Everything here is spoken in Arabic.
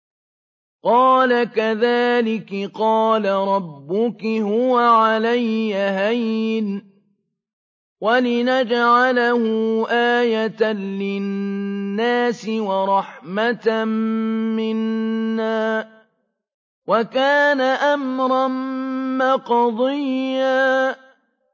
قَالَ كَذَٰلِكِ قَالَ رَبُّكِ هُوَ عَلَيَّ هَيِّنٌ ۖ وَلِنَجْعَلَهُ آيَةً لِّلنَّاسِ وَرَحْمَةً مِّنَّا ۚ وَكَانَ أَمْرًا مَّقْضِيًّا